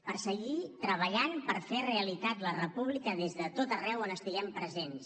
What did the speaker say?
per seguir treballant per fer realitat la república des de tot arreu on estiguem presents